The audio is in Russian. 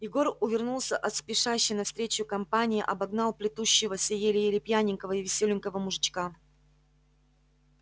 егор увернулся от спешащей навстречу компании обогнал плетущегося еле-еле пьяненького и весёленького мужичка